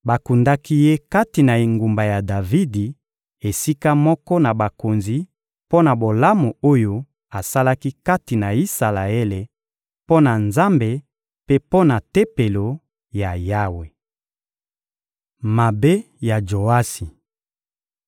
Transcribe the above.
Bakundaki ye kati na engumba ya Davidi esika moko na bakonzi mpo na bolamu oyo asalaki kati na Isalaele, mpo na Nzambe mpe mpo na Tempelo ya Yawe. Mabe ya Joasi